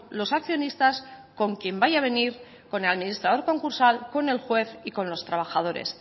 los accionistas con quién vaya a venir con el administrador concursal con el juez y con los trabajadoras